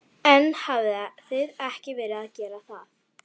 Telma: En hafið þið ekki verið að gera það?